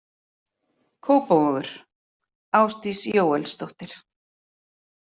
Kópavogur: Ásdís Jóelsdóttir.